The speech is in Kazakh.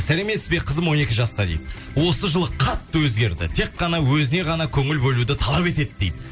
сәлеметсіз бе қызым он екі жаста дейді осы жылы қатты өзгерді тек қана өзіне ғана көңіл бөлуді талап етеді дейді